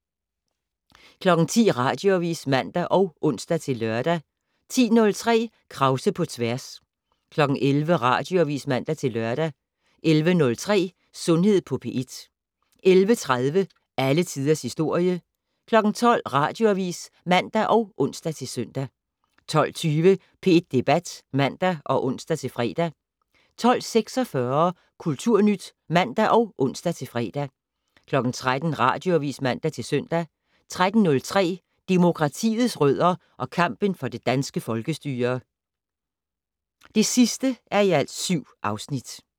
10:00: Radioavis (man og ons-lør) 10:03: Krause på tværs 11:00: Radioavis (man-lør) 11:03: Sundhed på P1 11:30: Alle Tiders Historie 12:00: Radioavis (man og ons-søn) 12:20: P1 Debat (man og ons-fre) 12:46: Kulturnyt (man og ons-fre) 13:00: Radioavis (man-søn) 13:03: Demokratiets rødder og kampen for det danske folkestyre (7:7)